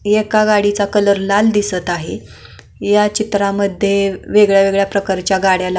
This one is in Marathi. एका गाडीचा कलर लाल दिसत आहे ह्या चित्रामध्ये वेगवेगळ्या गाड्याला--